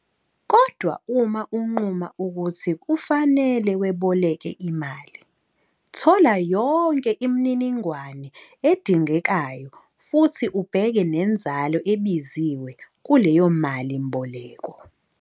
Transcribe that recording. Kodwa uma unquma ukuthi kufanele weboleke imali, thola yonke imininingwane edingekayo futhi ubheke nenzalo ebiziwe kuleyo malimboleko.